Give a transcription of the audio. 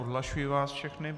Odhlašuji vás všechny.